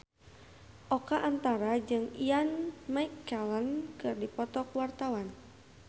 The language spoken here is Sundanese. Oka Antara jeung Ian McKellen keur dipoto ku wartawan